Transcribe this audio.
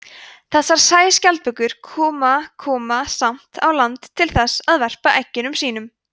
þessar sæskjaldbökur koma koma samt á land til þess að verpa eggjum sínum